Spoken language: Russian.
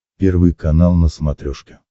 первый канал на смотрешке